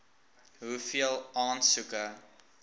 hoeveel aansoeke